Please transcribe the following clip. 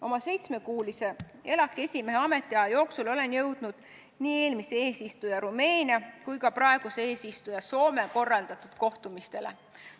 Oma seitsmekuulise ELAK-i esimehe ametiaja jooksul olen jõudnud nii eelmise eesistuja Rumeenia kui ka praeguse eesistuja Soome korraldatud kohtumistele.